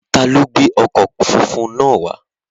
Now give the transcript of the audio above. Ta ló gbé ọkọ̀ funfun náà wá?